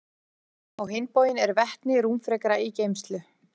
Á hinn bóginn er vetni rúmfrekara í geymslu.